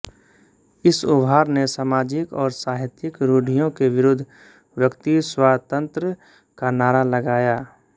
इस उभार ने सामाजिक और साहित्यिक रूढ़ियों के विरुद्ध व्यक्ति स्वातंत्र्य का नारा लगाया